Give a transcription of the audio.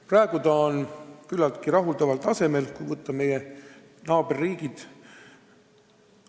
Praegu on see küllaltki rahuldaval tasemel, kui võrrelda meie naaberriikidega.